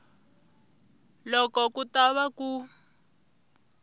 loko ku ta va ku